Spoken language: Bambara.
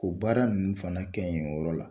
Ko baara ninnu fana kɛ yen yɔrɔ la.